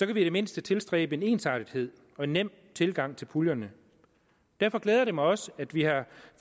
vi i det mindste tilstræbe en ensartethed og nem tilgang til puljerne derfor glæder det mig også at vi har